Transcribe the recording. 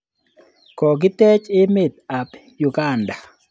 Koketech emet ap Uganda.